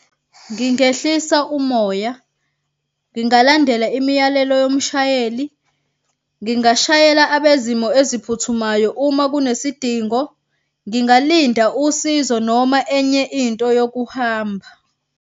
Ngingehlisa umoya, ngingalandela imiyalelo yomshayeli, ngingashayela abezimo eziphuthumayo uma kunesidingo, ngingalinda usizo noma enye into yokuhamba.